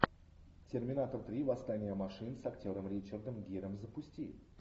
терминатор три восстание машин с актером ричардом гиром запусти